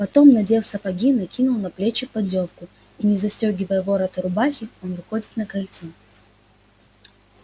потом надев сапоги накинув на плечи поддёвку и не застёгивая ворота рубахи он выходит на крыльцо